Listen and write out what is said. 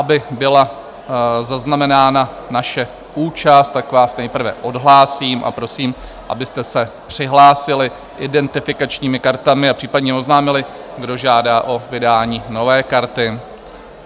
Aby byla zaznamenána naše účast, tak vás nejprve odhlásím a prosím, abyste se přihlásili identifikačními kartami a případně oznámili, kdo žádá o vydání nové karty.